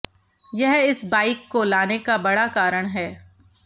यह इस बाइक को लाने का बड़ा कारण है